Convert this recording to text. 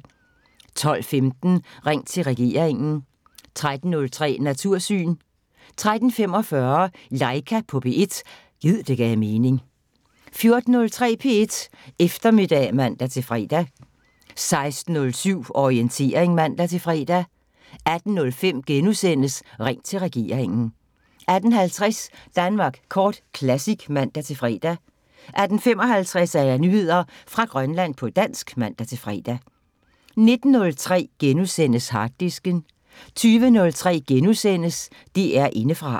12:15: Ring til regeringen 13:03: Natursyn 13:45: Laika på P1 – gid det gav mening 14:03: P1 Eftermiddag (man-fre) 16:07: Orientering (man-fre) 18:05: Ring til regeringen * 18:50: Danmark Kort Classic (man-fre) 18:55: Nyheder fra Grønland på dansk (man-fre) 19:03: Harddisken * 20:03: DR Indefra *